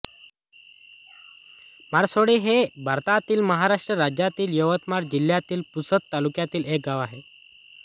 माळसोळी हे भारतातील महाराष्ट्र राज्यातील यवतमाळ जिल्ह्यातील पुसद तालुक्यातील एक गाव आहे